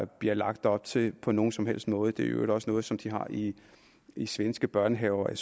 bliver lagt op til på nogen som helst måde det er i øvrigt også noget som de har i i svenske børnehaver og